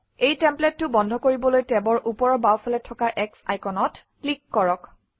এই টেমপ্লেটটো বন্ধ কৰিবলৈ টেবৰ ওপৰৰ বাওঁফালে থকা X আইকনত ক্লিক কৰক